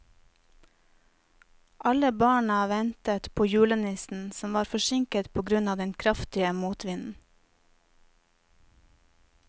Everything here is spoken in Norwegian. Alle barna ventet på julenissen, som var forsinket på grunn av den kraftige motvinden.